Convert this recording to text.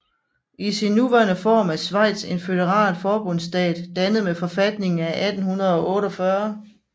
I sin nuværende form er Schweiz en føderal forbundsstat dannet med forfatningen af 1848